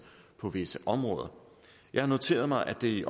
på visse områder jeg har noteret mig at det i